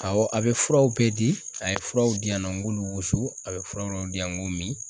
a bɛ furaw bɛɛ di, a ye furaw diyan nɔ n k'olu wusu, a ye fura dɔw di yan k'o min